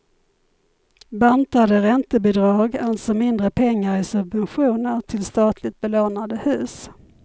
Bantade räntebidrag, alltså mindre pengar i subventioner till statligt belånade hus.